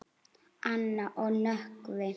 Anna og Nökkvi.